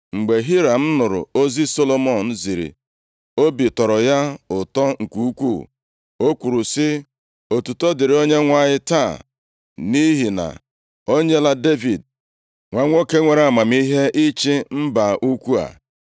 Mgbe Hiram nụrụ ozi Solomọn ziri, obi tọrọ ya ụtọ nke ukwuu. O kwuru sị, “Otuto dịrị Onyenwe anyị taa, nʼihi na o nyela Devid nwa nwoke nwere amamihe ịchị mba ukwuu a.”